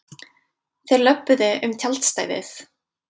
Þeir löbbuðu um tjaldstæðið.